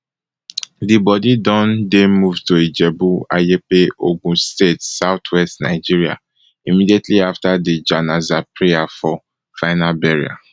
di bodi don dey moved to ijebu ayepe ogun state southwest nigeria immediately afta di janaza prayer for final burial